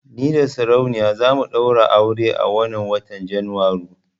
Ni da saurayina za mu ɗaura aure a wannan watan Janairu.